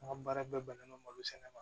An ka baara bɛɛ bannen nɔ malo sɛnɛ ma